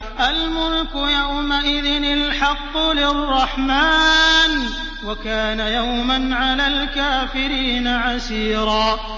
الْمُلْكُ يَوْمَئِذٍ الْحَقُّ لِلرَّحْمَٰنِ ۚ وَكَانَ يَوْمًا عَلَى الْكَافِرِينَ عَسِيرًا